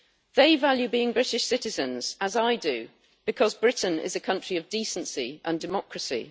They value being British citizens as I do because Britain is a country of decency and democracy.